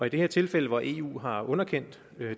i det her tilfælde hvor eu har underkendt